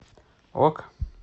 ок